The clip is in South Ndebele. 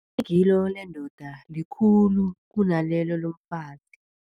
Igilo lendoda likhulu kunalelo lomfazi.